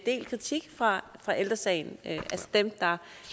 del kritik fra ældre sagen altså dem der